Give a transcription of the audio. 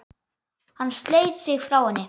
Hann sleit sig frá henni.